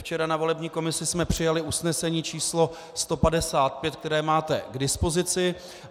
Včera na volební komisi jsme přijali usnesení číslo 155, které máte k dispozici.